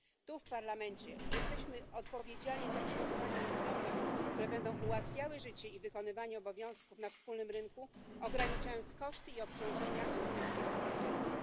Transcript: Tu, w Parlamencie, jesteśmy odpowiedzialni za przygotowanie rozwiązań, które będą ułatwiały życie i wykonywanie obowiązków na wspólnym rynku, ograniczając koszty i obciążenia europejskiego społeczeństwa.